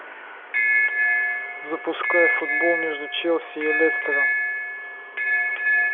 запускай футбол между челси и лестером